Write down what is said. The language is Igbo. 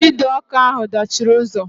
Ide ọkụ ahụ dachiri ụzọ